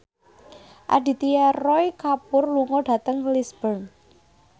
Aditya Roy Kapoor lunga dhateng Lisburn